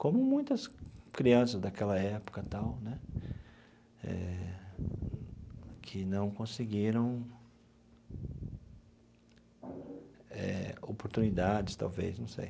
Como muitas crianças daquela época tal né eh que não conseguiram eh oportunidades, talvez, não sei.